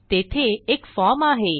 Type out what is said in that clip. तेथे एक फॉर्म आहे